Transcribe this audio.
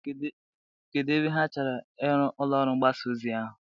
Kedu ebe ha chọrọ iru ụlọ ọrụ mgbasa ozi ahụ?